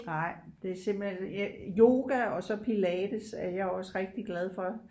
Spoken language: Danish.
Nej det er simpelthen yoga og så pilates er jeg også rigtig glad for